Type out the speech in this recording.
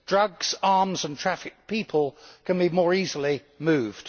Drugs, arms and trafficked people can be more easily moved.